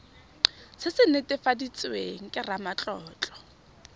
se se netefaditsweng ke ramatlotlo